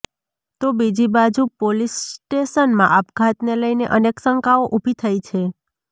તો બીજી બાજુ પોલીસ સ્ટેશનમાં આપઘાતને લઈને અનેક શંકાઓ ઉભી થઈ છે